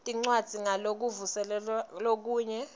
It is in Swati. tincwadzi ngalokuvuselelwa kanye